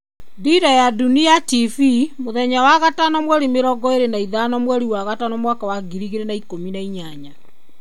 Dira ya Dunia TV mũthenya wa gatano 25.05.2018